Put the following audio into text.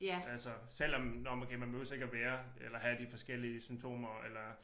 Altså selv om når men okay man behøver ikke at være eller have de forskellige symptomer eller